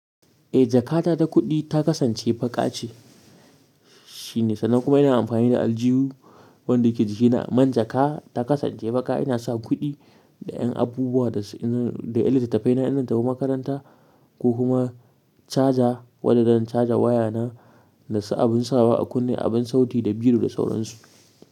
Eh jakata da kuɗi ta kasance baƙa ce shine. Sannan kuma ina amfani da aljihu wanda yake jikina. Man jaka ta kasance baƙa. Ina sa kuɗi da ƴan abubuwa dasu yan da yan litattafai na in zan tafi makaranta ko kuma caja wadda zan caja waya na da su abin sawa a kunne, abin sauti da biro da sauransu.